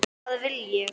Hvað vil ég?